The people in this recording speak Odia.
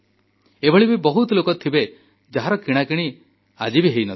ଏଭଳି ବି ବହୁତ ଲୋକ ଥିବେ ଯାହାର କିଣାକିଣି ହୋଇନଥିବ